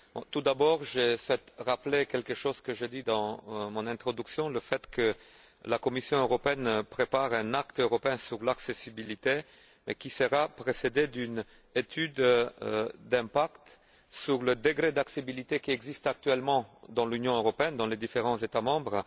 Tout d'abord, je souhaite rappeler ce que j'ai dit dans mon introduction, à savoir que la Commission européenne prépare un acte législatif européen sur l'accessibilité, qui sera précédé d'une étude d'impact sur le degré d'accessibilité qui existe actuellement dans l'Union européenne, dans les différents États membres,